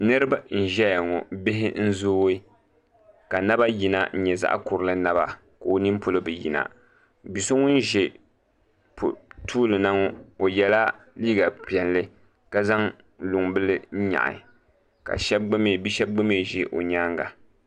Niraba n ʒɛya ŋo bihi n zooi ka naba yina n nyɛ zaɣ kurili naba ka o nin poli bi yina bia so ŋun ʒɛ tuuli na ŋo o yɛla liiga piɛlli ka zaŋ luŋ bili nyaɣi ka bia shab gba mii ʒi o nyaanga